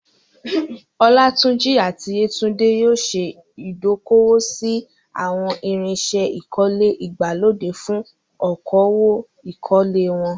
Olatunji àti Yetunde yóò ṣe ìdókòwò sí àwọn irinṣẹ́ ìkọ́lé ìgbàlódé fún okòwò ìkọ́lé wọn.